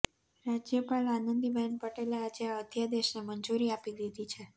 રાજયપાલ આનંદીબહેન પટેલે આજે આ અધ્યાદેશને મંજૂરી આપી દીધી છે